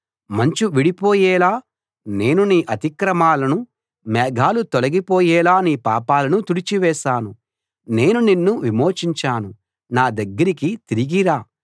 మంచు విడిపోయేలా నేను నీ అతిక్రమాలను మేఘాలు తొలగిపోయేలా నీ పాపాలను తుడిచివేశాను నేను నిన్ను విమోచించాను నా దగ్గరికి తిరిగి రా